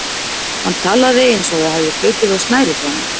Hann talaði eins og það hefði hlaupið á snærið hjá honum.